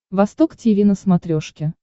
восток тиви на смотрешке